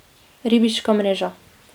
Ribiška mreža.